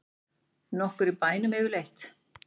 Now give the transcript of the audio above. Nokkur í bænum yfirleitt?